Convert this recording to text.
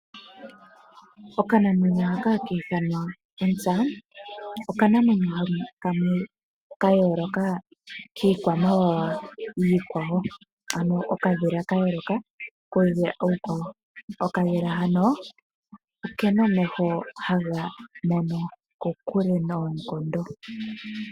Okanamwenyo hoka haka ithanwa onsta, oko okanamwenyo kamwe kayooloka kiikwamawawa iikwawo. Okadhila hano okena omeho haga mono kokule noonkondo.